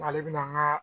Ale bɛna n ka